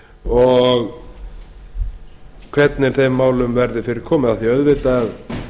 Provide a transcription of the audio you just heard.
og hvernig þeim málum verði fyrirkomið af því auðvitað